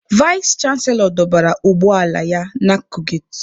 Vais chanselọ dọbara ụgbọ ala ya n'akụkụ geti.